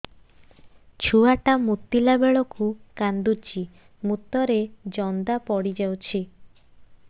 ଛୁଆ ଟା ମୁତିଲା ବେଳକୁ କାନ୍ଦୁଚି ମୁତ ରେ ଜନ୍ଦା ପଡ଼ି ଯାଉଛି